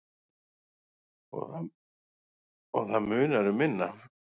Og það munar um minna.